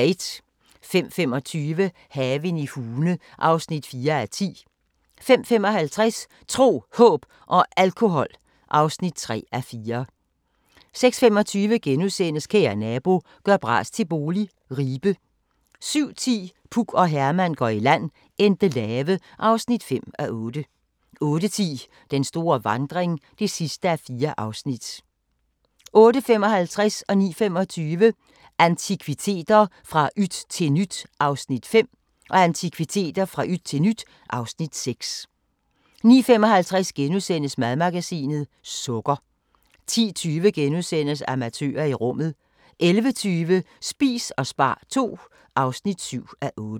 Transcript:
05:25: Haven i Hune (4:10) 05:55: Tro, Håb og Alkohol (3:4) 06:25: Kære nabo – gør bras til bolig – Ribe * 07:10: Puk og Herman går i land - Endelave (5:8) 08:10: Den store vandring (4:4) 08:55: Antikviteter – fra yt til nyt (Afs. 5) 09:25: Antikviteter – fra yt til nyt (Afs. 6) 09:55: Madmagasinet – Sukker * 10:20: Amatører i rummet * 11:20: Spis og spar II (7:8)